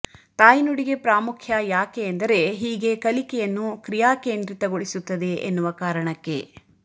ತಾಯ್ನುಡಿಗೆ ಪ್ರಾಮುಖ್ಯ ಯಾಕೆ ಎಂದರೆ ಹೀಗೆ ಕಲಿಕೆಯನ್ನು ಕ್ರಿಯಾಕೇಂದ್ರಿತಗೊಳಿಸುತ್ತದೆ ಎನ್ನುವ ಕಾರಣಕ್ಕೆ